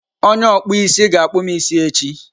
Onye okpụ isi ga akpụm isi echi.